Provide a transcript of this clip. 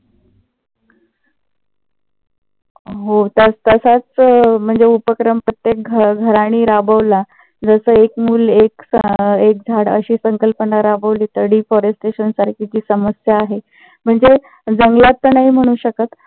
हो. त्याच तसाच म्हणजे उपक्रम प्रत्येक घराणी राबवला. जस एक मुल एक झाड अशी संकल्पना राबवली तर deforestaion सारखी जी समस्या आहे. म्हणजे जंगलात तर नाही म्हणू शकत